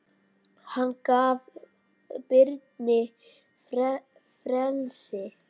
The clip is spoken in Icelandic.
Hann gaf Birni frelsi.